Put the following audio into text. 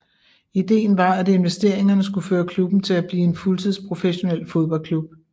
Ideen var at investeringerne skulle føre klubben til at blive en fuldtidsprofessionel fodboldklub